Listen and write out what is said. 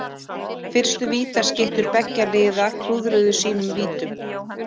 Fyrstu vítaskyttur beggja liða klúðruðu sínum vítum.